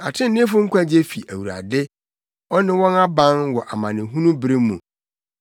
Atreneefo nkwagye fi Awurade ɔne wɔn aban wɔ amanehunu bere mu.